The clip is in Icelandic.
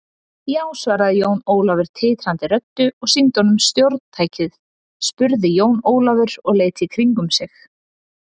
Já, svaraði Jón Ólafur titrandi röddu og sýndi honum stjórntækið spurði Jón Ólafur og leit í kringum sig.